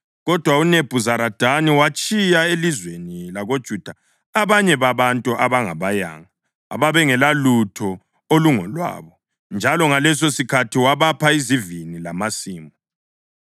Kodwa uNebhuzaradani watshiya elizweni lakoJuda abanye babantu abangabayanga ababengelalutho olungolwabo; njalo ngalesosikhathi wabapha izivini lamasimu.